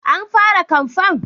An fara kamfen?